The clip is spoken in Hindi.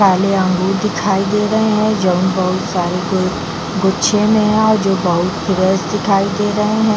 काले अंगूर दिखाई दे रहे है जो गुच्छे में है जो बहुत फ्रेश दिखाई दे रहे है।